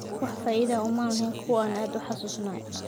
Wax faa'iido ah uma lahayn kuwa aan aad u xanuunsanayn.